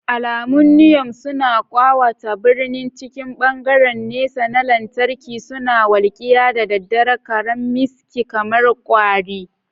Alamun Niyon suna ƙawata birni cikin hangen nesa na lantarki, suna walƙiya da daren karammiski kamar kwari.